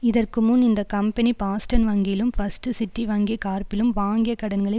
இதற்கு முன் இந்த கம்பெனி பாஸ்டன் வங்கியிலும் பஸ்ட் சிட்டி வங்கி கார்ப்பிலும் வாங்கிய கடன்களை